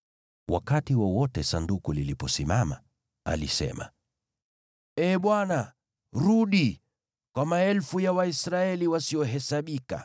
Wakati wowote Sanduku liliposimama, alisema, “Ee Bwana , rudi, kwa maelfu ya Waisraeli wasiohesabika.”